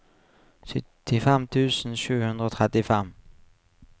syttifem tusen sju hundre og trettifem